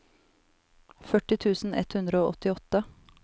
førti tusen ett hundre og åttiåtte